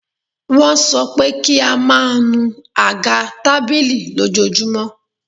Wọ́n sọ pé kí a máa nù àga tábìlì lójoojúmọ́.